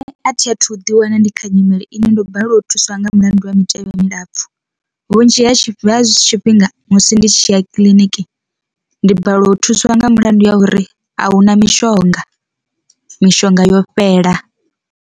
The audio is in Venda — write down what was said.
Athi athu ḓi wana ndi kha nyimele ine ndo balelwa u thuswa nga mulandu wa mitevhe milapfu, vhunzhi ha tshi fhi zwifhinga musi ndi tshi ya kiḽiniki ndi balelwa u thuswa nga mulandu wa uri ahuna mishonga, mishonga yo fhela.